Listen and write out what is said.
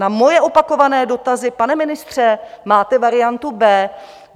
Na moje opakované dotazy: Pane ministře, máte variantu B?